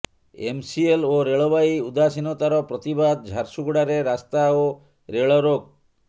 MCL ଓ ରେଳବାଇ ଉଦାସୀନତାର ପ୍ରତିବାଦ ଝାରସୁଗୁଡ଼ାରେ ରାସ୍ତା ଓ ରେଳ ରୋକ